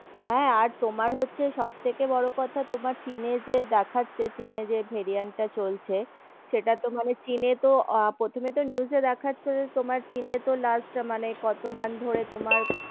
হেম, আর তোমার হচ্ছে সবথেকে বোডো কথা, তোমার চিনে যে দেখাচ্ছে, চিনে যে varient টা চলছে, সেটা তো মানে চিনে তো, প্রথমে তো news যে দেখাচ্ছে যে তোমার চিনে তো last মানে কত month ধরে তোমার,